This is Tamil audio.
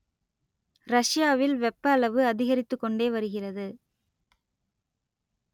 ரஷ்யாவில் வெப்ப அளவு அதிகரித்துக் கொண்டே வருகிறது